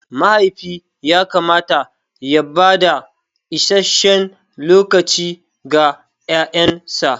Mahaifi yakamata ya bada isasshen lokaci ga yaransa.